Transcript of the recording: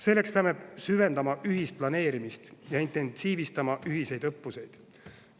Selleks peame süvendama ühist planeerimist ja intensiivistama ühiseid õppuseid.